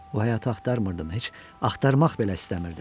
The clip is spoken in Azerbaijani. O həyatı axtarmırdım, heç axtarmaq belə istəmirdim.